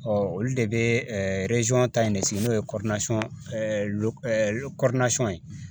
olu de bɛ ta in de sigi n'o ye ye